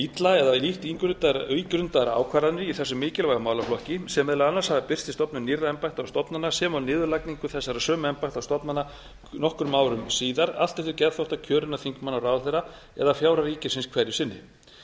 illa eða lítt ígrundaðar ákvarðanir í þessum mikilvæga málaflokki sem meðal annars hafa birst í stofnun nýrra embætta og stofnana sem og niðurlagningu þessara sömu embætta og stofnana nokkru árum síðar allt eftir geðþótta kjörinna þingmanna og ráðherra eða fjárhag ríkisins hverju sinni